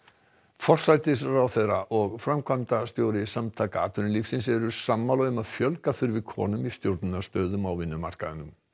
forsætisráðherra og framkvæmdastjóri Samtaka atvinnulífsins eru sammála um að fjölga þurfi konum í stjórnunarstöðum á vinnumarkaðnum